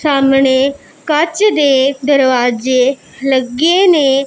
ਸਾਹਮਣੇ ਕੱਚ ਦੇ ਦਰਵਾਜੇ ਲੱਗੇ ਨੇਂ।